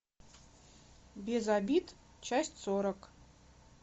без обид часть сорок